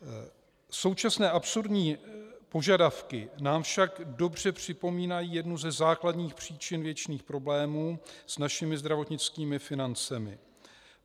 Současné absurdní požadavky nám však dobře připomínají jednu ze základních příčin věčných problémů s našimi zdravotnickými financemi.